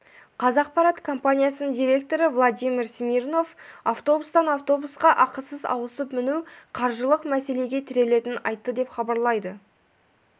қазақпарат компаниясының директоры владимир смирнов автобустан автобусқа ақысыз ауысып міну қаржылық мәселеге тірелетінін айтты деп хабарлайды